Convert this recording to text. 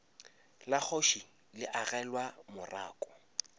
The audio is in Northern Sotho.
la kgoši le agelwa morako